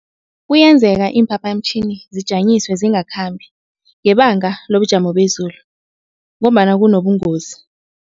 Kuyenzeka iimphaphamtjhini zijanyiswe zingakhambi, ngebanga lobujamo bezulu ngombana kunobungozi.